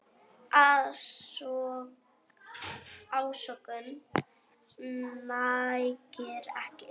Ásökun nægir ekki.